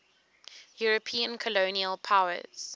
european colonial powers